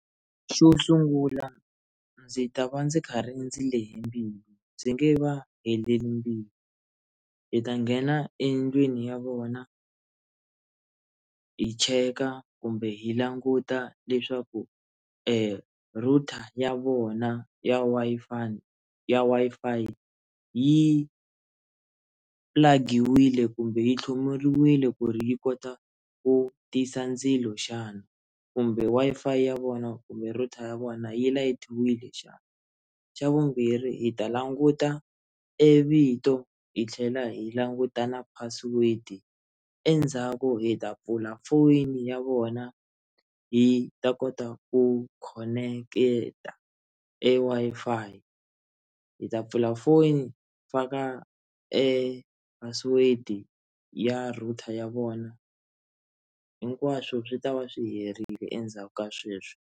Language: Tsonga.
Xo sungula ndzi ta va ndzi khari ndzi lehe mbilu ndzi nge va heleli mbilu hi ta nghena endlwini ya vona hi cheka kumbe hi languta leswaku erouter ya vona ya ya Wi-Fi yi pulagiwile kumbe yi tlhomeriwile ku ri yi kota ku tisa ndzilo xana kumbe Wi-Fi ya vona kumbe router ya vona yi layitiwile xana xa vumbirhi hi ta languta evito hi tlhela hi languta na password endzhaku hi ta pfula foyini ya vona hi ta kota ku khoneketa e-Wi-Fi hi ta pfula foni hi faka e-password ya router ya vona hinkwaswo swi ta va swi herile endzhaku ka sweswo.